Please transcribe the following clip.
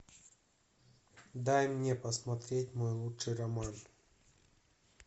дай мне посмотреть мой лучший роман